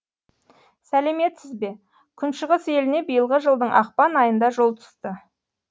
сәлеметсіз бе күншығыс еліне биылғы жылдың ақпан айында жол түсті